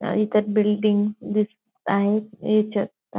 अं इथं बिल्डिंग दिसत आहेत ह्याच्यात--